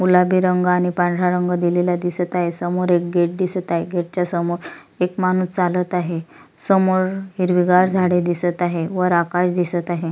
गुलाबी रंग आणि पांढरा रंग दिलेला दिसत आहे समोर एक गेट दिसत आहे गेट च्या समोर एक माणूस चालत आहे समोर हिरवीगार झाडे दिसत आहे आकाश दिसत आहे.